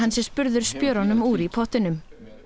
sé spurður spjörunum úr í pottinum